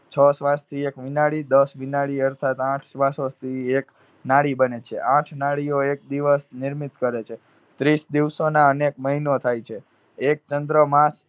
છ શ્વાસથી એક ઉનાળી, દસ વિનાળી અર્થાત આઠ શ્વાસોથી એક નાળી બને છે. આઠ નાળીઓ એક દિવસ નિર્મિત કરે છે. ત્રીસ દિવસોના એક મહિનો થાય છે. એક ચંદ્રમા